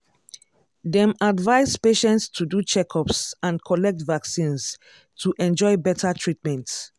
dem advise patients to do checkups and collect vaccines to enjoy better treatment.